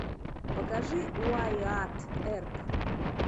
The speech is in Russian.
покажи уайатт эрп